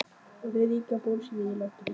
Og það ríkir bölsýni í landinu.